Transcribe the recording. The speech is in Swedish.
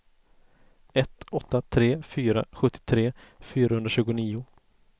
ett åtta tre fyra sjuttiotre fyrahundratjugonio